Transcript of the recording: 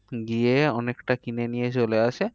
গিয়ে অনেকটা কিনে নিয়ে চলে আসে হম